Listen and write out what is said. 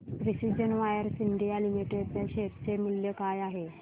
आज precision wires India limited च्या share चे मूल्य काय आहे